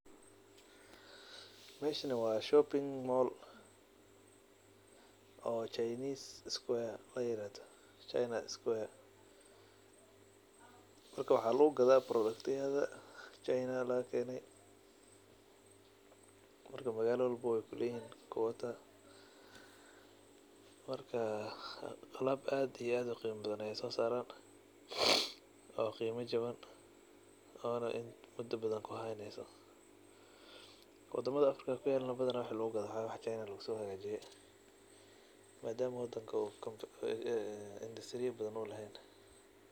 Meeshan wa shooping mall oo China square liyarahdo. Waxa lugugada boroduktiyada jinaha lagakeno ona qimo jawan, marka magalo walbo ayu kuyala marka alab aad iyo uqimo badan ayey sosaran oo jawn oo muda kuhaneyso wadamada afirka badana waxa lugugado wa wax jinaha lugusohagajiye maadama uu indutiriya badan u lehen.